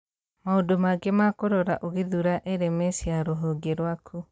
Maũndũ mangĩ ma Kũrora Ũgĩthuura LMS ya rũhonge rwaku